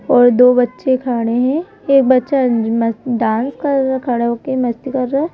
और दो बच्चे खड़े हैं एक बच्चा मस्त डांस कर खड़ा हो के मस्ती कर रहा है।